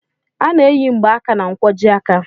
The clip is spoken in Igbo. A na-eyi mgbaaka na nkwojiaka.